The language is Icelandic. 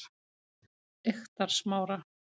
Eyktarsmára